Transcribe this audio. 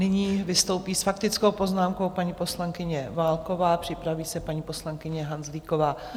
Nyní vystoupí s faktickou poznámkou paní poslankyně Válková, připraví se paní poslankyně Hanzlíková.